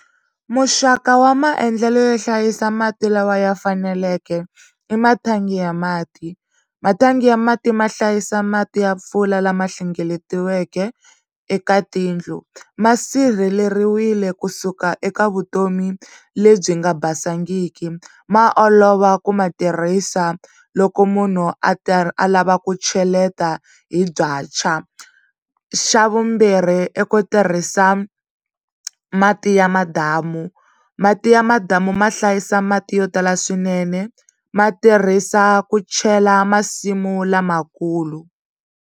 Muxaka wa maendlelo yo hlayisa mati lawa ya faneleke i mathangi ya mati mathangi ya mati ma hlayisa mati ya mpfula lama hlengeletiweke eka tiyindlu ma sirheleriwile kusuka eka vutomi lebyi nga basangiki ma olova ku ma tirhisa loko munhu a a lava ku cheleta hi xa vumbirhi i ku tirhisa mati ya madamu mati ya madamu ma hlayisa mati yo tala swinene ma tirhisa ku chela masimu lamakulu.